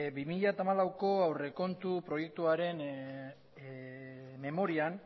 bi mila hamalaueko aurrekontu proiektuaren memorian